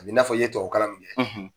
A bɛ n'a fɔ i ye tubabu kalan min kɛ